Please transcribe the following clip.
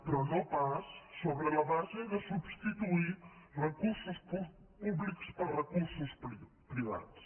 però no pas sobre la base de substituir recursos públics per recursos privats